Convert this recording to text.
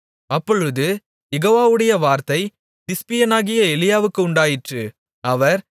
அப்பொழுது யெகோவாவுடைய வார்த்தை திஸ்பியனாகிய எலியாவுக்கு உண்டாயிற்று அவர்